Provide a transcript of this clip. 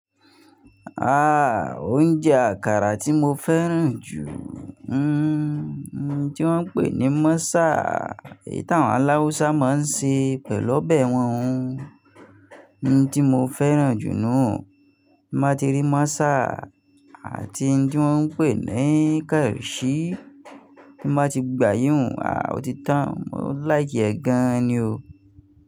Ah! Oúnjẹ àkàrà tí mo fẹ́ràn jù, hmm, ohun tí wọ́n ń pè ní Mọ́sà, tí àwọn aláwùsà máa ń ṣe pẹ̀lú ọbẹ̀ wọn. Ohun tí mo fẹ́ràn jù nù, bí mo ti rí Mọ́sà àti ohun tí wọ́n ń pè ní Kẹ̀rẹ̀ṣì, bí mo ti gba yíyùn, ah! Ó ti tán. Mo láìkì ẹ́ gan ni o.